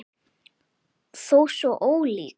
Þó svo ólík.